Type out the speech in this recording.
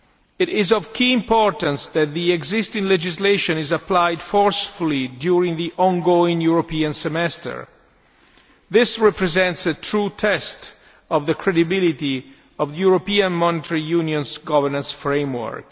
It is of key importance that the existing legislation is applied forcefully during the ongoing European Semester this represents a true test of the credibility of the European Monetary Union's governance framework.